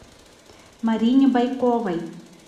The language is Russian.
марине бойковой